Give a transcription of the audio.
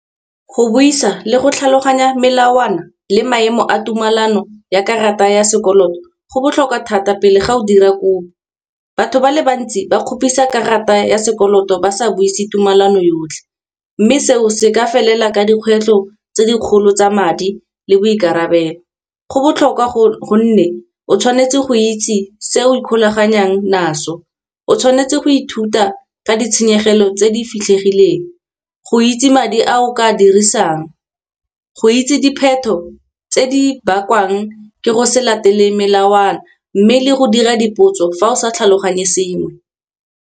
Go buisa le go tlhaloganya melawana le maemo a tumelano ya karata ya sekoloto, go botlhokwa thata pele ga o dira kopo. Batho ba le bantsi ba kgopisa karata ya sekoloto ba sa buise tumalano yotlhe, mme seo se ka felela ka dikgwetlho tse dikgolo tsa madi le boikarabelo. Go botlhokwa gonne o tshwanetse go itse se o ikgolaganyang naso, o tshwanetse go ithuta ka di tshenyegelo tse di fitlhegileng go itse madi a o ka dirisang, go itse dipheto tse di bakwang ke go se latele melawana. Mme le go dira dipotso fa o sa tlhaloganye sengwe.